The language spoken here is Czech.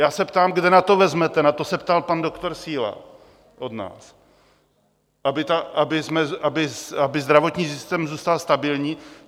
Já se ptám, kde na to vezmete, na to se ptal pan doktor Síla od nás, aby zdravotní systém zůstal stabilní.